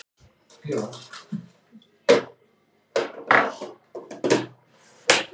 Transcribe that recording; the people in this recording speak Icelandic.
Mig kitlar í kjálkann.